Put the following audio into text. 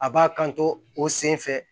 A b'a kan to o senfɛ